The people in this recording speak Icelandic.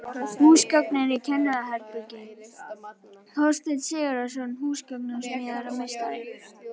Húsgögn í kennaraherbergi: Þorsteinn Sigurðsson, húsgagnasmíðameistari.